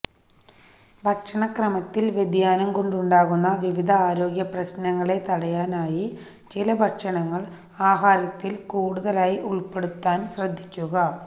ഭക്ഷണക്രമത്തിൽ വ്യതിയാനം കൊണ്ടുണ്ടാകുന്ന വിവിധ ആരോഗ്യപ്രശ്നങ്ങളെ തടയാനായി ചില ഭക്ഷണങ്ങൾ ആഹാരത്തിൽ കൂടുതലായി ഉൾപ്പെടുത്താൻ ശ്രദ്ധിക്കുക